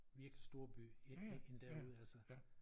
Virkelig storby end end derude altså